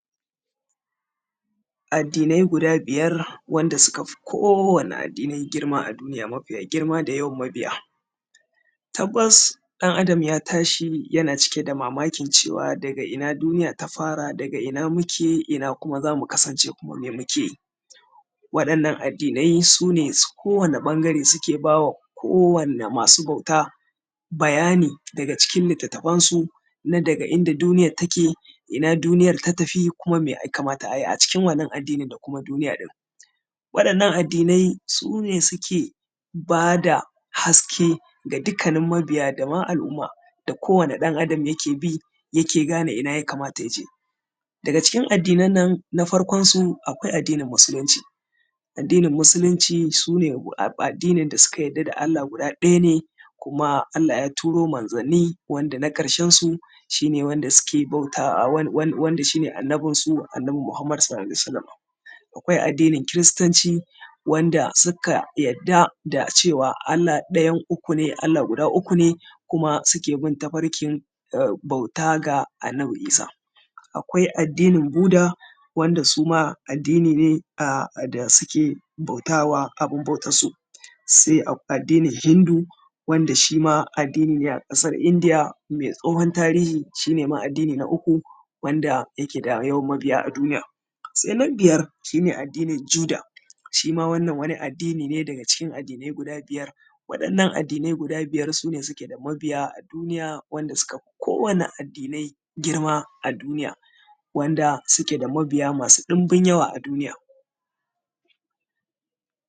Addinai guda biyar wanda suka fi kowane addini girma a duniya mafiya girma da yawan mabiya. Tabbas ɗan Adam ya tashi yan a cike da mamakin cewa daga ina duniya ta fara? da ina muke? ina kuma za mu kasance? kuma me muke yi? Waɗannan addinai su ne ta kowane ɓangare suke ba wa kowanne ma su bauta bayani daga cikin litattafansu. Na daga inda duniyar ta ke? ina duniyar ta tafi? kuma mai ya kamata ayi a cikin wannan addini? da kuma duniya ɗin? waɗannan addinai sune suke ba da haske ga dukkanin mabiya da ma al’umma da kowane ɗan Adam ya ke bi ya ke gane ina ya kamata ya je. Daga cikin addinan nan na farkonsu akwai addinin musulunci. Addinin musulunci su ne addinin da suka yadda da Allah ɗaya ne, kuma Allah ya turo manzonni wanda na ƙarshensu shine wanda shine annanbinsu, annabi Muhammad sallalahu alaihi wa sallama. Akwai addinin kiristanci wanda suka yadda da cewa Allah ɗayan uku ne, Allah guda uku ne kuma suke bin tafarkin bauta ga annabi Isa. Akwai addinin buda wanda suma addini ne da suke bautawa abun bautansu. Sai addinin hindu wanda shima addini ne a ƙasar indiya mai tsohon tarihi shine ma addini na uku wanda ke da yawan mabiya a duniya. Sai na biyar shine addinin juda shima wannan wani addini ne daga cikin addinai guda biyar. Waɗannan addinai guda biyar su ne suke da mabiya a duniya wanda suka fi kowane addinai girma a duniya wanda suke da mabiya masu ɗinbin yawa a duniya.